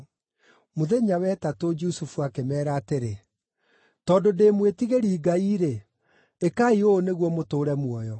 Mũthenya wa ĩtatũ Jusufu akĩmeera atĩrĩ, “Tondũ ndĩ mwĩtigĩri Ngai-rĩ, ĩkai ũũ nĩguo mũtũũre muoyo: